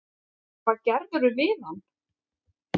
Hvað gerðirðu við hann!